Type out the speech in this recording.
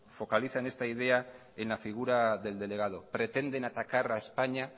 focalicen esta idea en la figura del delegado pretenden atacar a españa